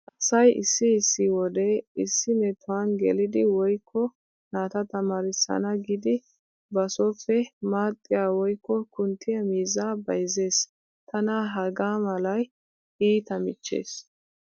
Asay issi issi wode issi metuwan gelidi woykko naata tamaarissana giidi ba sooppe maaxiya woykko kunttiya miizzaa bayzzees. Tana hegaa malay iita michchees.